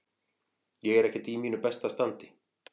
Ég er ekkert í mínu besta standi.